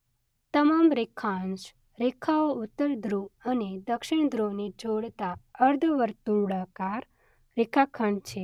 તમામ રેખાંશ રેખાઓ ઉત્તર ધ્રુવ અને દક્ષિણ ધ્રુવને જોડતા અર્ધવર્તુળાકાર રેખાખંડ છે.